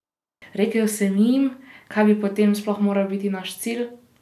Rekel sem jim, kaj bi potem sploh moral biti naš cilj?